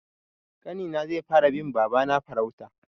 Ƙanina zai fara bin babana farauta.